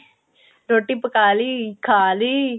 ਰੋਟੀ ਪਕਾ ਲਈ ਖਾਲੀ